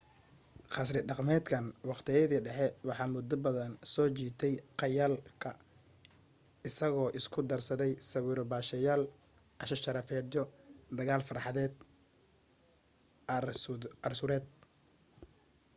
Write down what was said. qasri dhaqameedkan waqtiyadii dhexe waxa muddo badan soo jiitay khayaalka isagoo isku darsaday sawiro baasheyaal casho sharafeedyo dagaal fardeed arsuureed